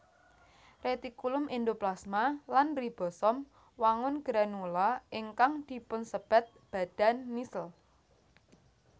Retikulum endoplasma lan ribosom wangun granula ingkang dipunsebat badan nissl